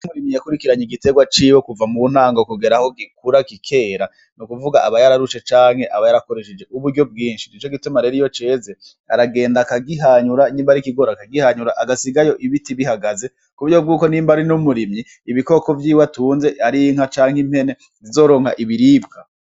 Iyo umurimyi yakurikiranye igiterwa ciwe kuva muntango kugera aho gikura kikera, nukuvuga aba yararushe canke aba yarakoresheje uburyo bwinshi, nico gituma iyo ceze, aragenda akagihanyura nyimba ari ikigori akagihanyura agasigayo ibiti bihagaze, kuburyo bwuko nimba ari n'umurimyi ibikoko vyiwe atunze ar'inka canke impene zizoronka ibiribwa.